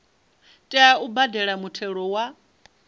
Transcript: tea u badela muthelo wa